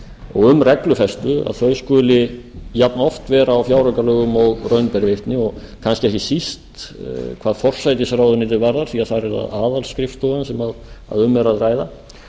og um reglufestu þau skuli jafnoft vera á fjáraukalögum og raun ber vitni og kannski ekki síst hvað forsætisráðuneytið varðar því þar er aðalskrifstofan sem um er að ræða